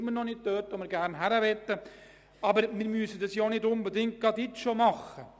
Wir sind noch immer nicht dort angelangt, wo wir gerne hinmöchten, aber das müssen wir nicht unbedingt jetzt schon machen.